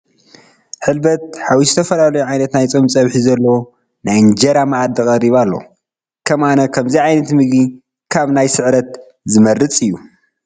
ሕልበት ሓዊሱ ዝተፈላለዩ ዓይነታት ናይ ፆም ፀብሒ ዘለዉዎ ናይ እንጀራ መኣዲ ቀሪቡ ኣሎ፡፡ ከም ኣነ ከምዚ ዓይነት ምግቢ ካብ ናይ ስዕረት ዝምረፅ እዩ፡፡